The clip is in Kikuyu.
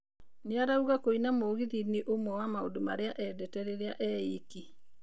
Nĩ arauga kũina mũgithĩ nĩ ũmwe wa maũndũmarĩa eendete rĩrĩa eiki.